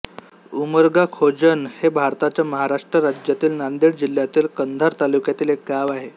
उमरगाखोजण हे भारताच्या महाराष्ट्र राज्यातील नांदेड जिल्ह्यातील कंधार तालुक्यातील एक गाव आहे